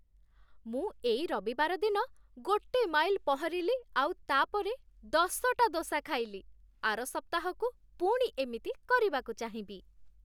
ମୁଁ ଏଇ ରବିବାର ଦିନ ଗୋଟେ ମାଇଲ୍ ପହଁରିଲି ଆଉ ତା'ପରେ ଦଶଟା ଦୋସା ଖାଇଲି । ଆର ସପ୍ତାହକୁ ପୁଣି ଏମିତି କରିବାକୁ ଚାହିଁବି ।